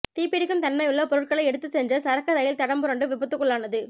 தீப்பிடிக்கும் தன்மையுள்ள பொருட்களை எடுத்து சென்ற சரக்கு ரயில் தடம் புரண்டு விபத்துக்குள்ளானது